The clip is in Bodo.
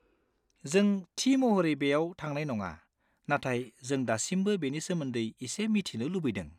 जों थि महरै बेयाव थांनाय नङा, नाथाय जों दासिमबो बेनि सोमोन्दै एसे मिथिनो लुबैदों।